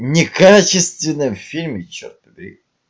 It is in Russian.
некачественным фильме черт побери